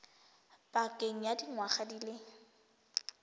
pakeng ya dingwaga di le